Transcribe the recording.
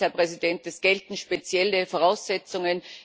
Sie sagten es, Herr Präsident, es gelten spezielle Voraussetzungen.